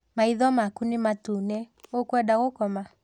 Maitho maku nĩ matune, ũkwenda gũkoma?